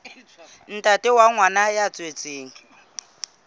ntate wa ngwana ya tswetsweng